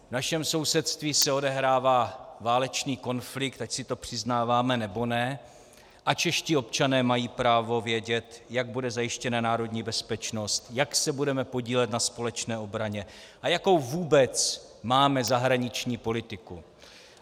V našem sousedství se odehrává válečný konflikt, ať si to přiznáváme, nebo ne, a čeští občané mají právo vědět, jak bude zajištěna národní bezpečnost, jak se budeme podílet na společné obraně a jakou vůbec máme zahraniční politiku.